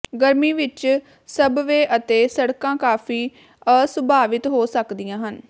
ਗਰਮੀ ਵਿਚ ਸਬਵੇਅ ਅਤੇ ਸੜਕਾਂ ਕਾਫ਼ੀ ਅਸੁਭਾਵਿਤ ਹੋ ਸਕਦੀਆਂ ਹਨ